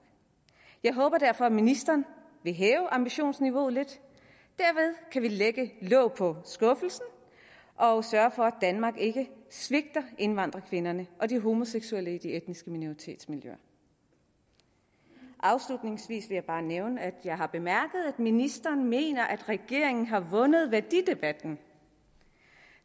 jeg håber derfor at ministeren vil hæve ambitionsniveauet lidt derved kan vi lægge låg på skuffelsen og sørge for at danmark ikke svigter indvandrerkvinderne og de homoseksuelle i de etniske minoritetsmiljøer afslutningsvis vil jeg bare nævne at jeg har bemærket at ministeren mener at regeringen har vundet værdidebatten